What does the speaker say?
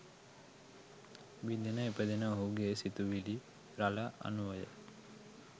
බිඳෙන ඉපදෙන ඔහුගේ සි‍තුවිලි රළ අනුවය.